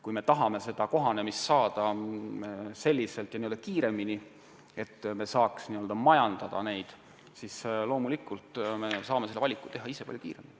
Kui tahame, et kohanemine toimuks kiiremini ja nii, et saaksime puistuid majandada, siis loomulikult saame ise teha valiku palju kiiremini.